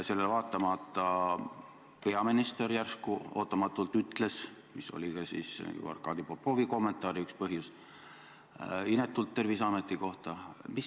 Sellele vaatamata peaminister järsku ootamatult ütles – see oli ka ju Arkadi Popovi kommentaari üks põhjusi – inetult Terviseameti kohta.